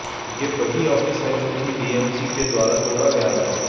ये वही ऑफिस है जो कि बीएमसी के द्वारा तोड़ा गया था